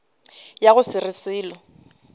ya go se re selo